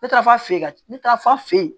Ne taara f'a fe yen ka ne taara f'a fe yen